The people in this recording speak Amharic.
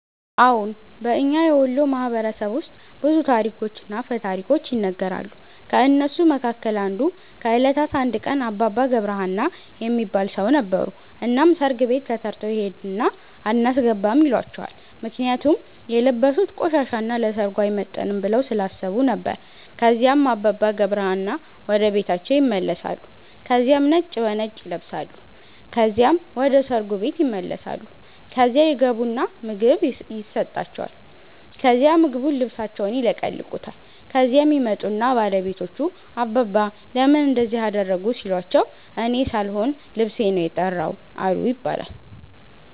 አዎን። በእኛ የወሎ ማህበረሰብ ውስጥ ብዙ ታሪኮችና አፈ ታሪኮች ይነገራሉ። ከእነሱ መካከል አንዱ ከእለታት አንድ ቀን አባባ ገብረ ሀና የሚባል ሠው ነበሩ። እናም ሠርግ ቤት ተተርተው ይሄድና አናስገባም ይሏቸዋል ምክንያቱም የለበሡት ቆሻሻ እና ለሠርጉ አይመጥንም ብለው ስላሠቡ ነበር። ከዚያም አባባ ገብረ ሀና ወደ ቤታቸው ይመለሳሉ ከዚያም ነጭ በነጭ ይለብሳሉ ከዚያም ወደ ሠርጉ ቤት ይመለሳሉ። ከዚያ ይገቡና ምግብ የሠጣቸዋል ከዛ ምግቡን ልብሣቸውን ይለቀልቁታል። ከዚያም ይመጡና ባለቤቶቹ አባባ ለምን እንደዚህ አደረጉ ሲሏቸው እኔ ሣልሆን ልብሤ ነው የተራው አሉ ይባላል።